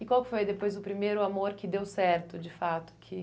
E qual foi depois o primeiro amor que deu certo, de fato? Que